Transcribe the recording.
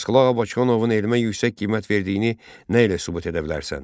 Abbasqulu Ağa Bakıxanovun elmə yüksək qiymət verdiyini nə ilə sübut edə bilərsən?